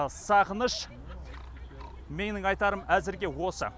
сағыныш менің айтарым әзірге осы